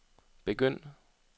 begynd